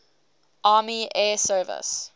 army air service